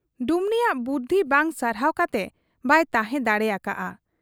ᱰᱩᱢᱱᱤᱭᱟᱜ ᱵᱩᱫᱷᱤ ᱵᱟᱝ ᱥᱟᱨᱦᱟᱣ ᱠᱟᱛᱮ ᱵᱟᱭ ᱛᱟᱦᱮᱸ ᱫᱟᱲᱮ ᱟᱠᱟ ᱦᱟᱫ ᱟ ᱾